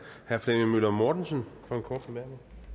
herre flemming møller mortensen